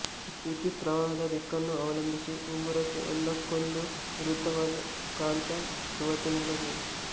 ವಿದ್ಯುತ್ ಪ್ರವಾಹದ ದಿಕ್ಕನ್ನು ಅವಲಂಬಿಸಿ ಉಂಗುರಕ್ಕೆ ಒಂದಕ್ಕೊಂದು ವಿರುದ್ಧವಾದ ಕಾಂತ ಧುವತೆ ನೀಡಬಹುದು